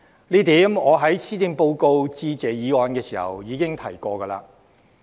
這點我在施政報告的致謝議案辯論時已經提及。